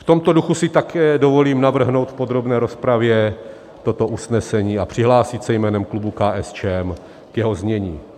V tomto duchu si také dovolím navrhnout v podrobné rozpravě toto usnesení a přihlásit se jménem klubu KSČM k jeho znění.